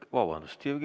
Vabandust!